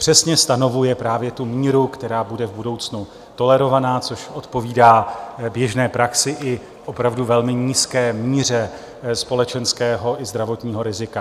Přesně stanovuje právě tu míru, která bude v budoucnu tolerovaná, což odpovídá běžné praxi i opravdu velmi nízké míře společenského i zdravotního rizika.